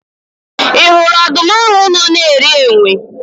Ị hụrụ ọdụm ahụ nọ na-eri enwe?